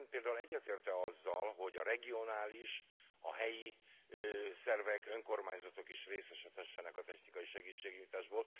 De Ön például egyetért e azzal, hogy a regionális, a helyi szervek, önkormányzatok is részesedhessenek a technikai segítségnyújtásból?